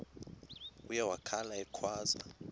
uye wakhala ekhwaza